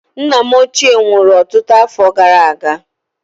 Nna m ochie nwụrụ ọtụtụ afọ gara aga.